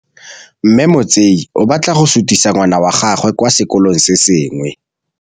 Mme Motsei o batla go sutisa ngwana wa gagwe kwa sekolong se sengwe.